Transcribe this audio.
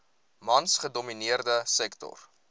mans gedomineerde sektor